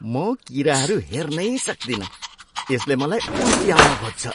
म किराहरू हेर्नै सक्तिनँ, यसले मलाई उल्टी आउन खोज्छ।